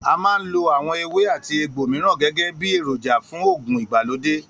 A máa ń lo àwo̩n ewé àti egbò mìíràn gé̩gé̩ bí èròjà fún fún ògùn ìgbàlódé